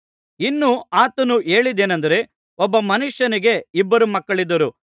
ಇನ್ನೂ ಆತನು ಹೇಳಿದ್ದೇನಂದರೆ ಒಬ್ಬ ಮನುಷ್ಯನಿಗೆ ಇಬ್ಬರು ಮಕ್ಕಳಿದ್ದರು